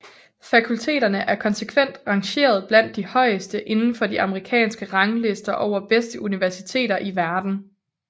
Fakulteterne er konsekvent rangeret blandt de højeste indenfor de amerikanske ranglister over bedste universiteter i verden